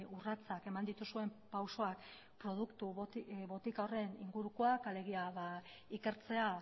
urratsak eman dituzuen pausuak produktu botika horren ingurukoak alegia ba ikertzea